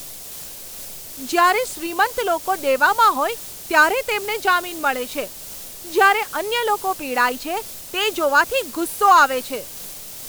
જ્યારે શ્રીમંત લોકો દેવામાં હોય ત્યારે તેમને જામીન મળે છે, જ્યારે અન્ય લોકો પીડાય છે, તે જોવાથી ગુસ્સો આવે છે.